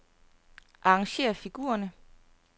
Arrangér figurerne.